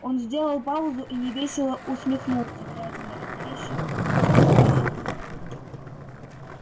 он сделал паузу и невесело усмехнулся глядя на редеющий кончик сигареты